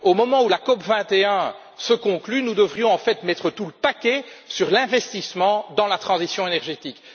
Au moment où la COP 21 se conclut, nous devrions en fait mettre tout le paquet sur l'investissement dans la transition énergétique.